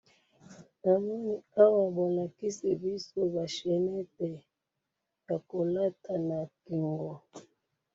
Awa bolakisi biso ba chainette ya ko lata na kingo.